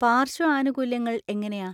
പാര്‍ശ്വ ആനുകൂല്യങ്ങൾ എങ്ങനെയാ?